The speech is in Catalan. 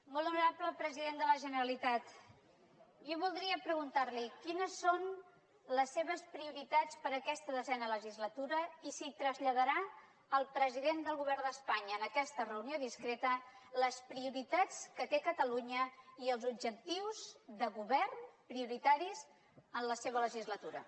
molt honorable president de la generalitat jo voldria preguntar li quines són les seves prioritats per a aquesta desena legislatura i si traslladarà al president del govern d’espanya en aquesta reunió discreta les prioritats que té catalunya i els objectius de govern prioritaris en la seva legislatura